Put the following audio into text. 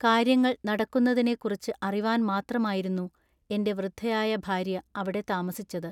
കാൎയ്യങ്ങൾ നടക്കുന്നതിനെക്കുറിച്ചു അറിവാൻ മാത്രമായിരുന്നു എന്റെ വൃദ്ധയായ ഭാൎയ്യ അവിടെ താമസിച്ചതു.